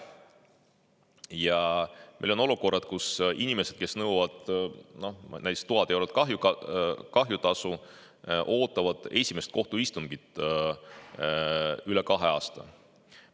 Ja meil on olukorrad, kus inimesed, kes nõuavad näiteks 1000 eurot kahjutasu, ootavad esimest kohtuistungit üle kahe aasta.